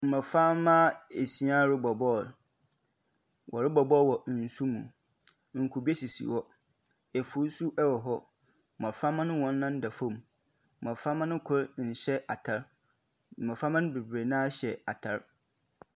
Mboframba esia robɔ bɔɔl, wɔrobɔ bɔɔl wɔ nsu mu, nkube sisi hɔ, efuw so wɔ hɔ. mboframba no hɔn nan da famu, mboframba no kor nnhyɛ atar, mboframba no beberee no ara hyɛ atar.